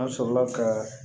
An sɔrɔla ka